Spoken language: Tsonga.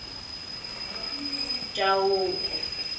chauke